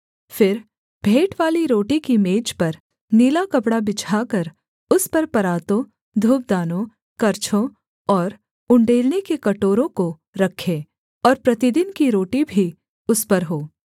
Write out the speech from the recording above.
फिर भेंटवाली रोटी की मेज पर नीला कपड़ा बिछाकर उस पर परातों धूपदानों करछों और उण्डेलने के कटोरों को रखें और प्रतिदिन की रोटी भी उस पर हो